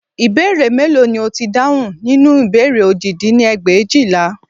Ìbéèrè mélòó ni ó ti dáhùn nínú ìbéèrè òjì dín ní ẹgbẹ̀éjìlá